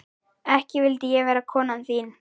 Ekki vildi ég vera konan þín.